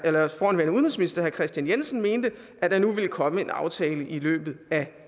kristian jensen mente at der nu vil komme en aftale i løbet af